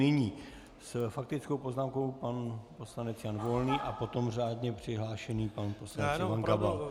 Nyní s faktickou poznámkou pan poslanec Jan Volný a potom řádně přihlášený pan poslanec Ivan Gabal.